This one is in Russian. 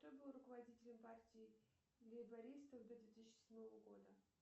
кто был руководителем партии лейбористов до две тысячи седьмого года